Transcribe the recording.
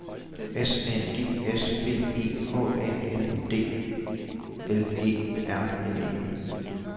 S A G S B E H A N D L E R N E